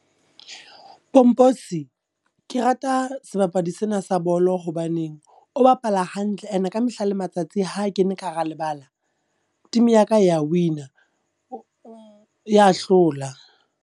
Pomposi, ke rata sebapadi sena sa bolo hobaneng o bapala hantle. And ka mehla le matsatsi ha kene ka hara lebala, team ya ka ya wina, ya hlola.